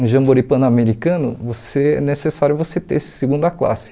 Um jamboree pan-americano, você é necessário você ter segunda classe.